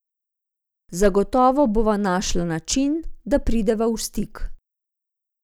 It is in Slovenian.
Zagotovo bova našla način, da prideva v stik.